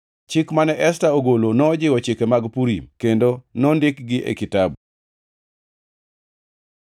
Chik mane Esta ogolo nojiwo chike mag Purim, kendo nondikgi e kitabu.